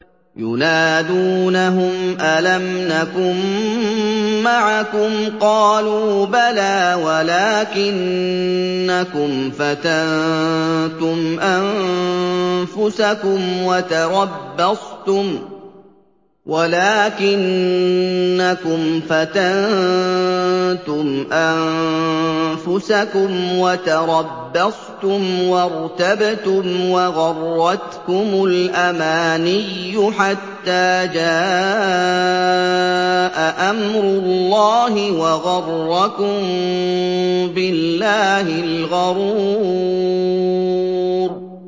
يُنَادُونَهُمْ أَلَمْ نَكُن مَّعَكُمْ ۖ قَالُوا بَلَىٰ وَلَٰكِنَّكُمْ فَتَنتُمْ أَنفُسَكُمْ وَتَرَبَّصْتُمْ وَارْتَبْتُمْ وَغَرَّتْكُمُ الْأَمَانِيُّ حَتَّىٰ جَاءَ أَمْرُ اللَّهِ وَغَرَّكُم بِاللَّهِ الْغَرُورُ